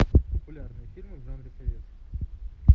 популярные фильмы в жанре советский